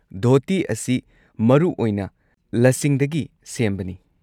ꯙꯣꯇꯤ ꯑꯁꯤ ꯃꯔꯨꯑꯣꯏꯅ ꯂꯁꯤꯡꯗꯒꯤ ꯁꯦꯝꯕꯅꯤ꯫